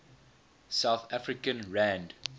south african rand